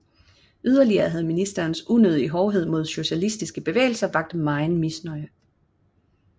Yderligere havde ministeriets unødige hårdhed mod socialistiske bevægelser vakt megen misnøje